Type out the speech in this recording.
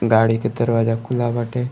गाड़ी के दरवाज़ा खुला बाटे।